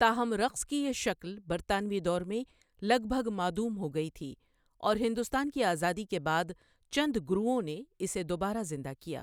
تاہم رقص کی یہ شکل برطانوی دور میں لگ بھگ معدوم ہو گئی تھی، اور ہندوستان کی آزادی کے بعد چند گروؤں نے اسے دوبارہ زندہ کیا۔